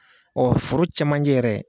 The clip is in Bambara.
foro cɛmancɛ yɛrɛ